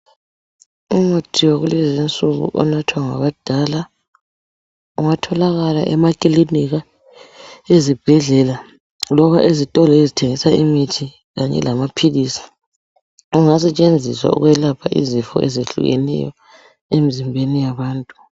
Umuthi wakulezi insuku onathwa ngabadala. Ungatholakala emakilinika, ezibhedlela, loba ezitolo, ezithengisa imithi kanye lamaphilisi. Ungasetshenziswa ukwelapha izifo ezehlukeneyo, empilweni yabantu.